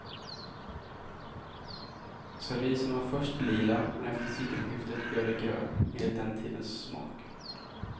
Servisen var först lila, men efter sekelskiftet blev den grön, enligt den tidens smak.